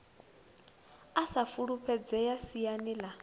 u sa fulufhedzea siani ḽa